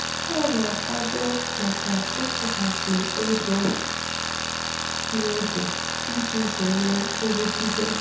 Ha na-akwado maka ịkwụghachi ego n'oge iji zere nrụgide